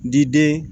N diden